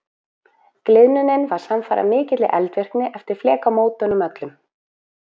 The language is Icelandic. Gliðnunin var samfara mikilli eldvirkni eftir flekamótunum öllum.